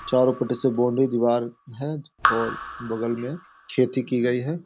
चारो पटी से बाउंड्री दीवार है और बगल में खेती की गयी है।